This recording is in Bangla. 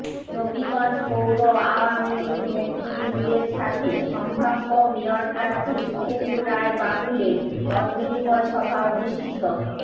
নবীগঞ্জ পৌর আওয়ামীলীগ নেতৃবৃন্দের সাথে সম্ভাব্য মেয়র প্রার্থী সুখেন্দু রায় বাবুল এর মতবিনিময় সভা অনুষ্ঠিত